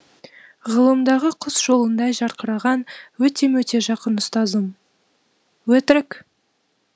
ғылымдағы құс жолындай жарқыраған өте мөте жақын ұстазым өтірік